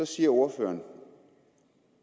siger ordføreren